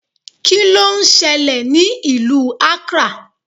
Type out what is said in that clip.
Kíló ń ṣẹlẹ̀ ní ìlú Accra?